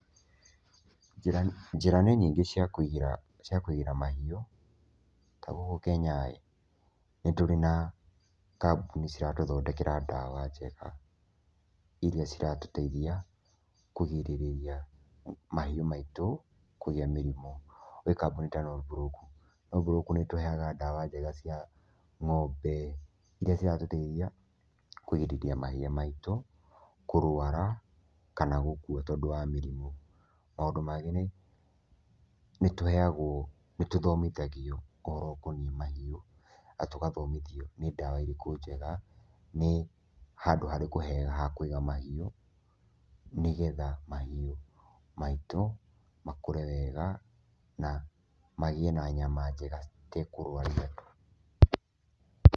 Njĩra nĩ nyingĩ cia kũigĩra cia kũigĩra mahiũ, ta gũkũ Kenya nĩ tũrĩ na kambuni ciratũthondekera ndawa njega iria ciratũteithia kũgirĩrĩria mahiũ maitũ kũgĩa mĩrimũ, gwĩ kambuni ta Norbrook, Norbrook nĩ ĩtũheaga ndawa njega cia ng'ombe, iria ciratũteithia kũgirĩrĩria mahĩa maitũ kũrũara kana gũkua tondũ wa mĩrimũ. Maũndũ mangĩ nĩ tũheagwo nĩ tũthomithagio ũhoro ukoniĩ mahiũ na tũgathomithio nĩ ndawa irĩkũ njega, nĩ handũ harĩkũ hega ha kũiga mahiũ nĩgetha mahiũ maitũ makũre wega na magĩe na nyama njega citekũrũaria andũ.